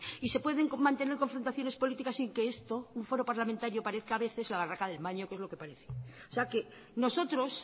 y se pueden mantener confrontaciones política sin que esto un foro parlamentario parezca a veces la barraca del maño que es lo que parece o sea que nosotros